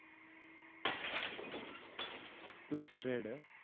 plus trade